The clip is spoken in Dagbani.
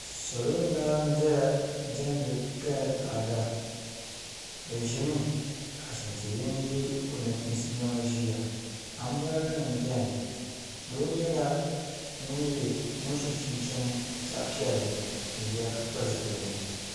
Salo n laɣam ʒɛya diɛmdi bi kaya ni taada bi ʒimi ka ashantihini yɛ o nachiinsi niɛma ʒiya anbirɛla nim biɛni doo nyɛla ŋun so chinchini zaɣ piɛlli n ʒiya ka pili zipiligu